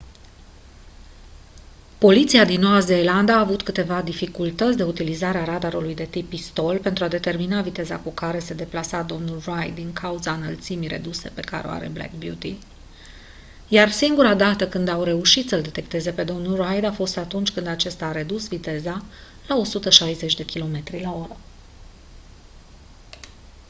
poliția din noua zeelandă a avut dificultăți cu utilizarea radarului de tip pistol pentru a determina viteza cu care se deplasa domnul reid din cauza înălțimii reduse pe care o are black beauty iar singura dată când au reușit să-l detecteze pe domnul reid a fost atunci când acesta a redus viteza la 160 km/h